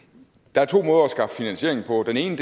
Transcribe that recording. der er to måder at skaffe finansiering på den ene